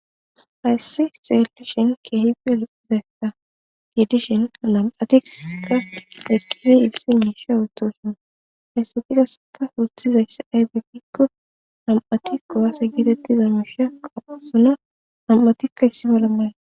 hayssi xeelishin keehip elbeta giidishin alam'atika eqqifi ilsi niisha uotoshuna hayssegigaseta wurtizayssi aybepikko ham7atikkoaase gitettiza musha qausuna am7atikka issibala mal